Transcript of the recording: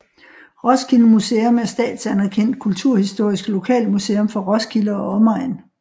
Roskilde Museum er et statsanerkendt kulturhistorisk lokalmuseum for Roskilde og omegn